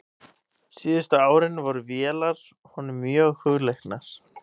Síðustu árin voru vélar honum mjög hugleiknar.